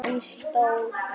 En stóð samt kyrr.